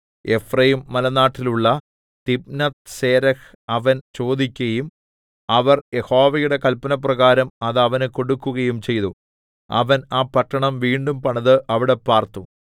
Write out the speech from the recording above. എഫ്രയീംമലനാട്ടിലുള്ള തിമ്നത്ത്സേരഹ് അവൻ ചോദിക്കയും അവർ യഹോവയുടെ കല്പനപ്രകാരം അത് അവന് കൊടുക്കുകയും ചെയ്തു അവൻ ആ പട്ടണം വീണ്ടും പണിത് അവിടെ പാർത്തു